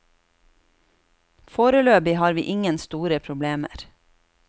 Foreløpig har vi ingen store problemer.